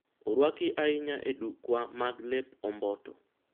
orwaki ahinya e dukwa mag lep omboto